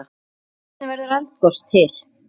Hvernig verður eldgos til?